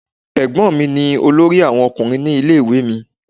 Ẹ̀gbọ́n mi ni olórí àwọn Ọkùnrin ní ilé ìwé mi.